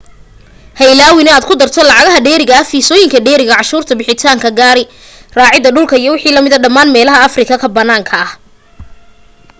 ha ilaawin in aad ku darto lacagaha dheeriga fiisoyinka dheeriga canshuurta bixitaanka gaari raaca dhulka iwm dhamaan meelaha africa ka banaanka